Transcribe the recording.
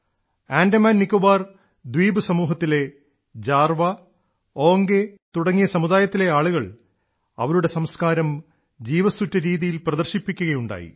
ആൻഡമാൻനിക്കോബർ ദ്വീപസമൂഹത്തിലെ ജാർവാ ഓംഗേ തുടങ്ങിയ സമുദായത്തിലെ ആളുകൾ അവരുടെ സംസ്കാരം ജീവസ്സുറ്റ രീതിയിൽ പ്രദർശിപ്പിക്കുകയുണ്ടായി